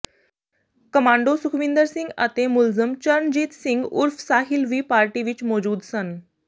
commando Sukhwinder Singh ਅਤੇ ਮੁਲਜ਼ਮ ਚਰਨਜੀਤ ਸਿੰਘ ਉਰਫ਼ ਸਾਹਿਲ ਵੀ ਪਾਰਟੀ ਵਿਚ ਮੌਜੂਦ ਸਨ